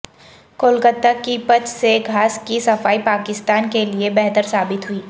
کولکتہ کی پچ سے گھاس کی صفائی پاکستان کے لیے بہتر ثابت ہوئی